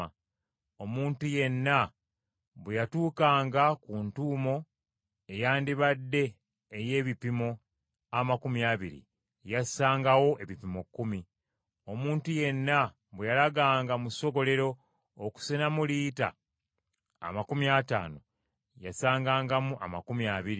Omuntu yenna bwe yatuukanga ku ntuumu eyandibadde ey’ebipimo amakumi abiri, yassangawo ebipimo kkumi. Omuntu yenna bwe yalaganga mu ssogolero okusenamu lita amakumi ataano, yasangangamu amakumi abiri.